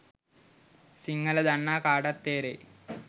සිංහල දන්නා කාටත් තේරෙයි.